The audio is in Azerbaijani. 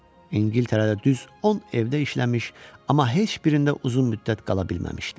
İngiltərədə düz 10 evdə işləmiş, amma heç birində uzun müddət qala bilməmişdi.